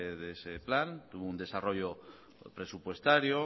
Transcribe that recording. de ese plan tuvo un desarrollo presupuestario